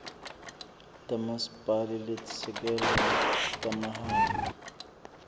tamasipala letisisekelo tamahhala